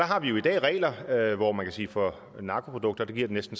har vi jo i dag regler for narkoprodukter kan man